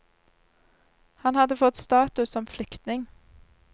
Han hadde fått status som flyktning.